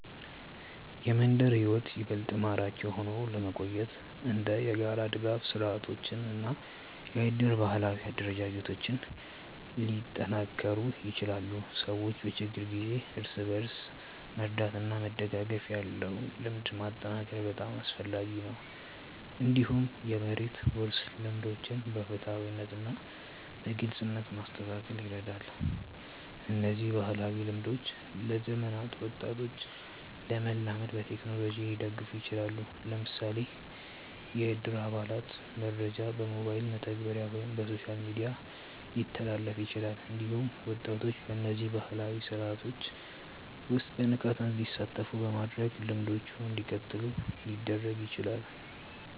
የመንደር ሕይወት ይበልጥ ማራኪ ሆኖ ለመቆየት እንደ የጋራ ድጋፍ ስርዓቶች እና የእድር ባህላዊ አደረጃጀቶች ሊጠናከሩ ይችላሉ። ሰዎች በችግር ጊዜ እርስ በርስ መርዳት እና መደጋገፍ ያለው ልምድ ማጠናከር በጣም አስፈላጊ ነው። እንዲሁም የመሬት ውርስ ልምዶችን በፍትሃዊነት እና በግልጽነት ማስተካከል ይረዳል። እነዚህ ባህላዊ ልምዶች ለዘመናዊ ወጣቶች ለመላመድ በቴክኖሎጂ ሊደገፉ ይችላሉ። ለምሳሌ የእድር አባላት መረጃ በሞባይል መተግበሪያ ወይም በሶሻል ሚዲያ ሊተላለፍ ይችላል። እንዲሁም ወጣቶች በእነዚህ ባህላዊ ስርዓቶች ውስጥ በንቃት እንዲሳተፉ በማድረግ ልምዶቹ እንዲቀጥሉ ሊደረግ ይችላል።